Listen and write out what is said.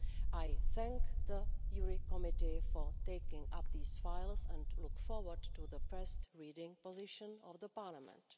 I thank the JURI Committee for taking up these files and look forward to the first reading position of Parliament.